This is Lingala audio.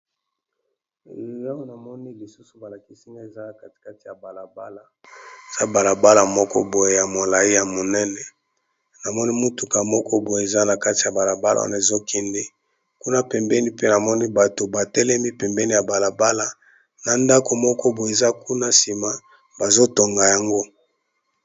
Awa namoni lisuso balakisinga ezala katikati ya balabala za balabala moko boye ya molai ya monene namoni mutuka moko boye eza na kati ya balabala wana ezokende kuna pembeni pe namoni bato batelemi pembeni ya balabala na ndako moko boe eza kuna nsima bazotonga yango.